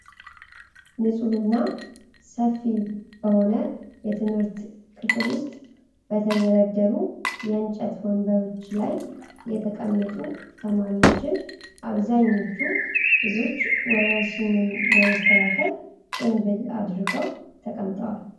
ንፁህ እና ሰፊ በሆነ የትምህርት ክፍል ውስጥ በተደረደሩ የእንጨት ወንበሮች ላይ የተቀመጡ ተማሪዎችን ። አብዛኞቹ ልጆች ወረርሽኙን ለመከላከል ጭምብል አድርገው ተቀምጠዋል።